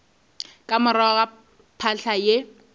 ka morago ga phahla ye